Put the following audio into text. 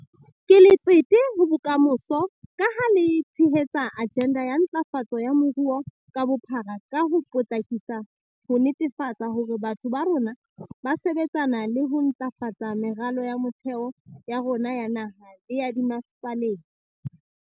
Ke letsete ho bokamoso, ka ha le tshehetsa ajenda ya ntlafatso ya moruo ka bophara ka ho potlakisa ho netefatsa hore batho ba rona ba sebetsana le ho ntlafatsa meralo ya motheo ya rona ya naha le ya dimmasepaleng.